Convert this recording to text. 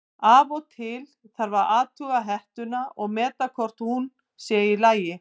Af og til þarf að athuga hettuna og meta hvort hún sé í lagi.